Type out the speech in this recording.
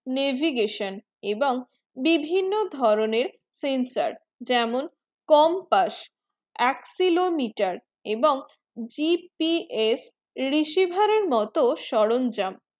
navigation এবং বিভিন্ন ধরণে sensor যেমন compass accelometer এবং GPS receiver এর মতো সরঞ্জাম